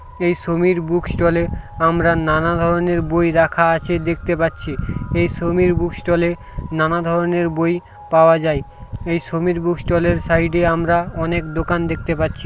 এই সমীর বুক স্টলে আমরা নানা ধরনের বই রাখা আছে দেখতে পাচ্ছি এই সমীর বুক স্টলে -এ নানা ধরনের বই পাওয়া যায় এই সমীর বুক স্টলে -এর সাইডে আমরা অনেক দোকান দেখতে পাচ্ছি।